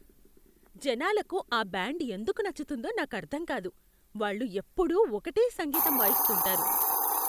జనాలకు ఆ బ్యాండ్ ఎందుకు నచ్చుతుందో నాకర్థం కాదు. వాళ్ళు ఎప్పుడూ ఒకటే సంగీతం వాయిస్తుంటారు.